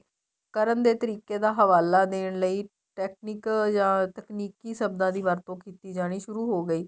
ਕਰਨ ਦੇ ਤਰੀਕੇ ਦਾ ਹਵਾਲਾ ਦੇਣ ਲਈ technical ਜਾ ਤਕਨੀਕੀ ਸਬਦਾਂ ਦੀ ਵਰਤੋਂ ਕੀਤੀ ਜਾਣੀ ਸੁਰੂ ਹੋ ਗਈ